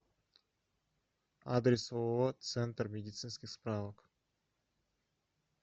адрес ооо центр медицинских справок